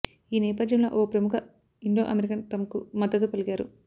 ఈ నేపథ్యంలో ఓ ప్రముఖ ఇండో అమెరికన్ ట్రంప్కు మద్దతు పలికారు